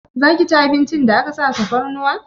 Zaki ci abincin da aka sa tafarnuwa?